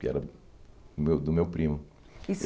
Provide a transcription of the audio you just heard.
que era do meu do meu primo.